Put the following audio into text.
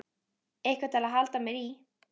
Eitthvað til að halda mér í.